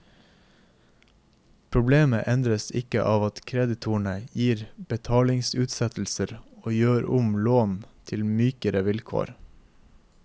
Problemet endres ikke av at kreditorene gir betalingsutsettelser og gjør om lån til mykere vilkår.